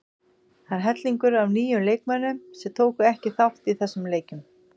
Það er hellingur af nýjum leikmönnum sem tóku ekki þátt í þessum leikjum.